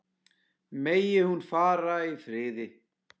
Megi hún fara í friði.